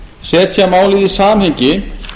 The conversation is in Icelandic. setja málið í samhengi